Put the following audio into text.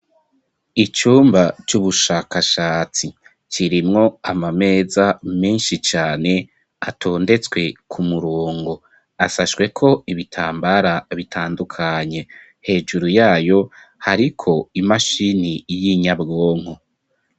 Icumba c'ubushakashatsi kirimwo amameza menshi cane atondetswe ku murongo asashwe ko ibitambara bitandukanye hejuru yayo hariko imashini y'inyabwonko.